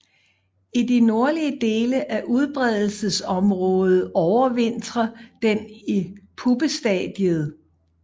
I de nordlige dele af udbredelsesområdet overvintrer den i puppestadiet